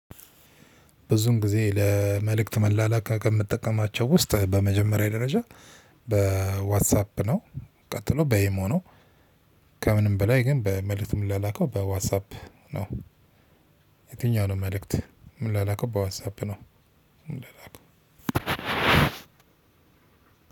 ብዙን ጊዜ ለመልእክት መላላክ ከምጠቀማቸው ውስጥ በመጀመሪያ ደረጃ በዋትሳፕ ነው። ቀጥሎ በኢሞ ነው። ከምንም በላይ ግን በመልእክት የምላላከው በዋትሳፕ ነው። የትኛው ነው መልእክት ምላላከው በዋትሳፕ ነው? ምን ምላላከው